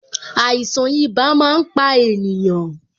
Àìsàn ibà máa ń pa ènìyàn